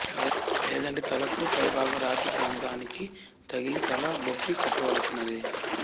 లేదంటే తలకు పైభాగం రాతి ప్రాంతానికి తగిలి తల బొప్పి కట్టవలసినదే